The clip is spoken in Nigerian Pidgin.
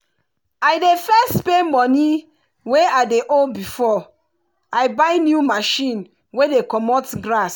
i dey first pay money wey i dey ow before i buy new machine wey dey comot grass